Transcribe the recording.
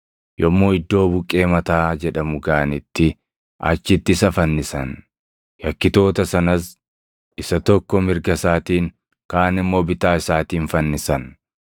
Yommuu iddoo Buqqee Mataa jedhamu gaʼanitti achitti isa fannisan; yakkitoota sanas, isa tokko mirga isaatiin, kaan immoo bitaa isaatiin fannisan.